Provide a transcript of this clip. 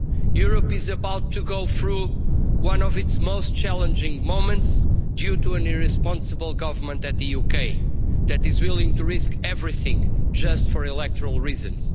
Europe is about to go through one of its most challenging moments due to an irresponsible government in the UK that is willing to risk everything just for electoral reasons.